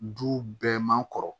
Du bɛɛ man kɔrɔ